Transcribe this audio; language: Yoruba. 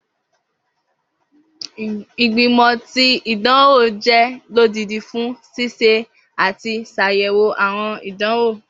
Igbimọ ti idanwo jẹ lodidi fun ṣiṣe ati ṣayẹwo awọn idanwo